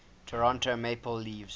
toronto maple leafs